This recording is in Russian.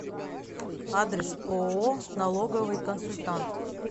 адрес ооо налоговый консультант